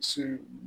Se